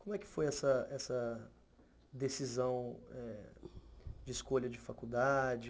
Como é que foi essa essa decisão de escolha de faculdade?